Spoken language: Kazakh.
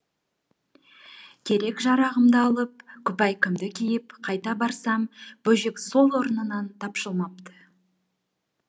керек жарағымды алып күпәйкемді киіп қайта барсам бөжек сол орнынан тапжылмапты